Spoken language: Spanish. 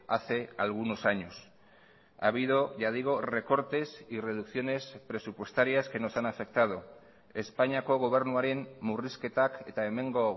hace algunos años ha habido ya digo recortes y reducciones presupuestarias que nos han afectado espainiako gobernuaren murrizketak eta hemengo